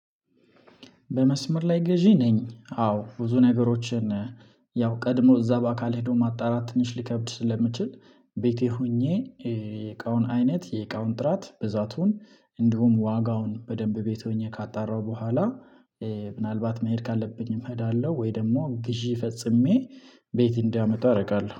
በመስመር ላይ ገዢ ነኝ። አዎ ብዙ ነገሮችን ያው ቀድሞ እዛ በአካል ሄዶ ማጣራት ትንሽ ሊከብድ ስለሚችል። ቤቴ ሆኜ የእቃውን አይነት የእቃውን ጥራት ብዛቱን እንዲሁም ዋጋውን በደንብ ቤት ሆኜ ካጣራሁ በኋላ። ምናልባት መሄድ ካለብኝም እሄዳለሁ ወይ ደግሞ ግዢ ፈጽሜ ቤት እንዲያመጣ አደርጋለሁ